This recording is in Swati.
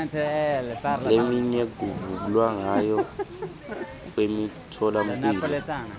leminye yokuvulwa kwemitfolamphilo